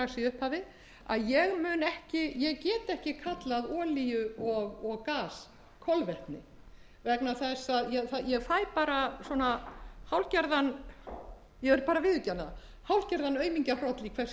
upphafi að ég get ekki kallað olíu og gas kolvetni ég fl bara hálfgerðan ég vil bara viðurkenna það hálfgerðan aumingjahroll í hvert skipti sem það er gert vegna þess að þetta er svo